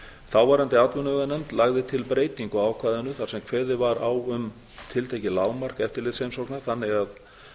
þáverandi atvinnuveganefnd lagði til breytingu á ákvæðinu þar sem kveðið var á um tiltekið lágmark eftirlitsheimsókna þannig að